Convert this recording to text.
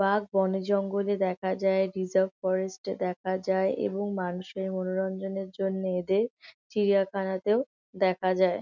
বাঘ বনে জঙ্গলে দেখা যায় রিজার্ভ ফরেস্ট -এ দেখা যায় এবং মানুষের মনোরঞ্জনের জন্য এদের চিড়িয়াখানাতেও দেখা যায়।